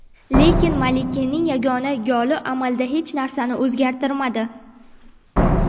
Lekin Malkinning yagona goli amalda hech narsani o‘zgartirmadi.